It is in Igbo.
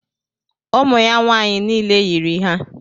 Ụmụ ya nwaanyị niile yiri ha.